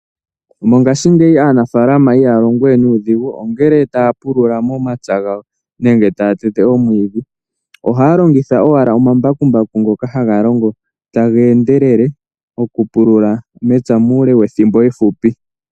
Mongashingeyi aanafaalma ihaya longo we nuudhigu ngele taya pulula momapya gawo nenge taya tete omwiidhi. Ohaya longitha owala omambakumbaku ngoka haga longo taga endelele okupulula mepya muule wethimbo efupi.